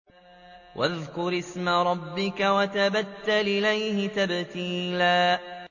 وَاذْكُرِ اسْمَ رَبِّكَ وَتَبَتَّلْ إِلَيْهِ تَبْتِيلًا